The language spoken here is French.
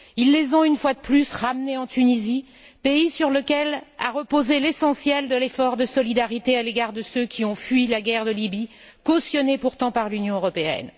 Ils les ont, une fois de plus, ramenés en Tunisie, pays sur lequel a reposé l'essentiel de l'effort de solidarité à l'égard de ceux qui ont fui la guerre de Libye, pourtant cautionnée par l'Union européenne.